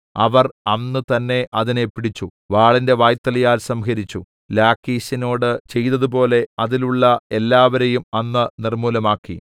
അവർ അന്ന് തന്നേ അതിനെ പിടിച്ചു വാളിന്റെ വായ്ത്തലയാൽ സംഹരിച്ചു ലാഖീശിനോട് ചെയ്തതുപോലെ അതിലുള്ള എല്ലാവരെയും അന്ന് നിർമ്മൂലമാക്കി